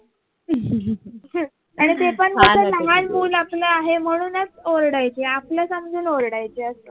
आणि ते पण कस लहान मुल आपल आहे म्हणूनच ओरडायचे आपल समजून ओरडायचे अस